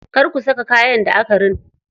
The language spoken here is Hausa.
Kar ku saka kayan da aka rina.